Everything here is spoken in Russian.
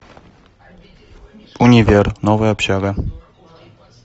универ новая общага